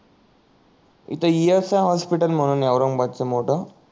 इथ E S I hospital म्हणून आहे औरंगाबाद च मोठ